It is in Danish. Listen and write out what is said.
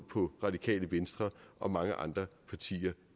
på radikale venstre og mange andre partier